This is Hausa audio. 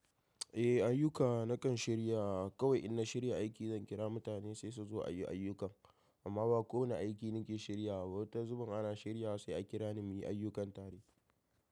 Eh, ayyuka na kan shirya. Kawai in na shirya aiki zan kira mutane sai su zo a yi ayyukan. Amma ba kowani aiki nake shiryawa ba. Wata zubin ana shiryawa sai a kira ni muyi ayyukan tare.